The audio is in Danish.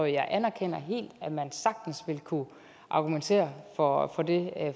jeg anerkender helt at man sagtens vil kunne argumentere for det